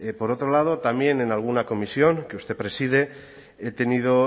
por otro lado también en alguna comisión que usted preside he tenido